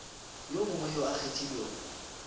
yo mongwe yo a kgethilwego